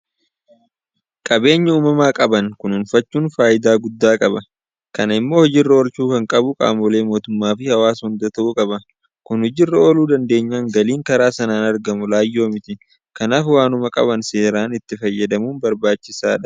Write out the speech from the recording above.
Qabeenya uumamaa qaban kunuunfachuun faayidaa guddaa qaba. Kana immoo hojiirra oolchuu kan qabu qaamolee mootummaafi hawaasa hunda ta'uu qaba. Kun hojii irra ooluu dandeenyaan galiin karaa sanaan argamu laayyoo miti. Kanaaf waanuma qaban seeraan itti fayyadamuun barbaachisaadha.